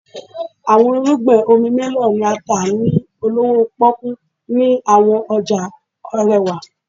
Awọn irugbin omi melon ni a ta ni olowo poku ni awọn ọja arewa.